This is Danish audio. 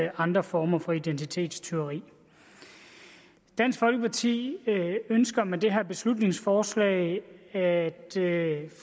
andre former for identitetstyveri dansk folkeparti ønsker med det her beslutningsforslag at